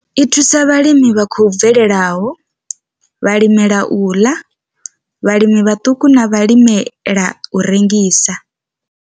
I thusa vhalimi vha khou bvelelaho, vhalimela u ḽa, vhalimi vhaṱuku na vhalimela u rengisa.